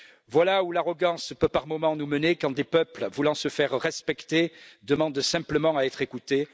Voilà où l'arrogance peut par moments nous mener, quand des peuples voulant se faire respecter demandent simplement à être écoutés.